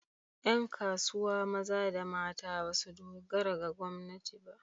Ƴan kasuwa maza da mata ba su dogara ga gwamnati ba.